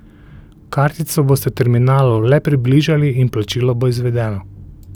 Kartico boste terminalu le približali in plačilo bo izvedeno.